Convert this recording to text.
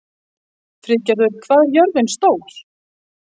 Friðgerður, hvað er jörðin stór?